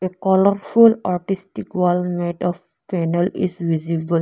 colourful artistic wallmate of panel is visible.